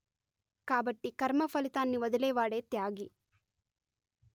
కాబట్టి కర్మ ఫలితాన్ని వదిలేవాడే త్యాగి